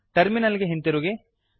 terminal ಗೆ ಹಿಂದಿರುಗಿ